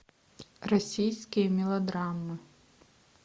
российские мелодрамы